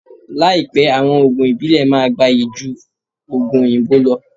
Láípẹ àwọn òògùn ìbílè máà gbáyí jú òògùn òyìnbó lọ